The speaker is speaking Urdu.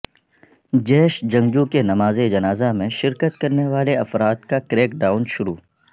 جیش جنگجو کے نماز جنازہ میں شرکت کرنے والے افراد کا کریک ڈائون شروع